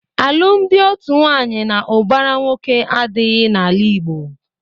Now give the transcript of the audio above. Alụmdi otu nwaanyị na ụbara nwoke adịghị na-ala Igbo.